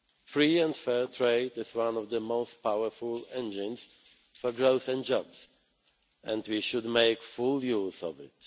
less. Free and fair trade is one of the most powerful engines for growth and jobs, and we should make full use of